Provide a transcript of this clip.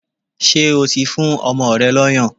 Ṣé o ti fún ọmọ rẹ lọ́yàn?